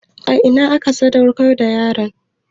A ina ake sadaukar da yaron?